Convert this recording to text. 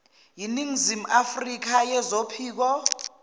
ningizimu afrka zophiko